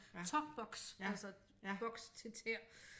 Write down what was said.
Tåboks altså boks til tæer